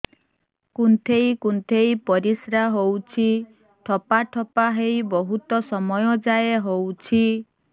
କୁନ୍ଥେଇ କୁନ୍ଥେଇ ପରିଶ୍ରା ହଉଛି ଠୋପା ଠୋପା ହେଇ ବହୁତ ସମୟ ଯାଏ ହଉଛି